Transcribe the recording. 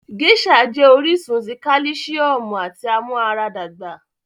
Geisha jẹ oríṣun tí kálìsíọ̀mù àti amuaradagba.